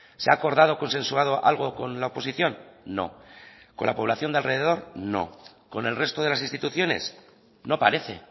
se ha acordado consensuado algo con la oposición no con la población de alrededor no con el resto de las instituciones no parece